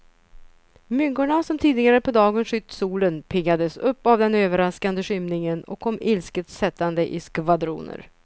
Myggorna som tidigare på dagen skytt solen, piggades upp av den överraskande skymningen och kom ilsket sättande i skvadroner.